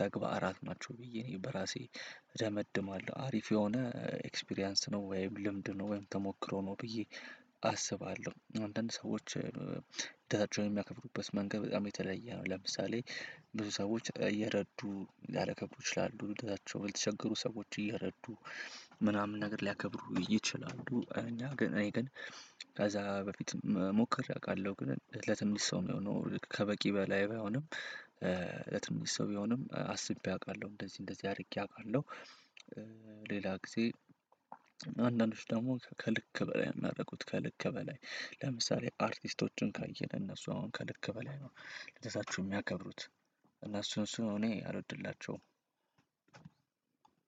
ተግባራት ናቸው ብዬ እኔ በራሴ ደመድማለሁ። አሪፍ የሆነ ኤክስፒሪያንስ ነው፤ ወይም ልምድ ነው፤ ወይም ተሞክሮ ነው፤ ብዬ አስባለሁ። አንዳንድ ሰዎች ልደታቸው የሚያከብሩበት መንገድ በጣም የተለየ ነው። ለምሳሌ ብዙ ሰዎች እየረዱ ሊያከብረ ይችላሉ። ልደታቸው ለተቸገሩ ሰዎች እየረዱ ምናምን ነገር ሊያከብሩ ይችላሉ። እኛ ግን እኔ ከዛ በፊት መሞከር አውቃለሁ። ግን ለትንሽ ሰው የሆነው ከበቂ በላይ ባይሆንም ለትንሽ ሰው ቢሆንም አስቤ አውቃለሁ እንደዚህ እንደዚህ አድርጌ አውቃለሁ። ሌላ ጊዜ አንዳንዶች ደግሞ ከልክ በላይ የሚያደርጉት ከልክ በላይ ለምሳሌ አርቲስቶችን ካየነ እነሱ አሁን ከልክ በላይ ነው ልደታቸዎን የሚያከብሩት እና እሱን እሱን እኔ አልወድላቸውም።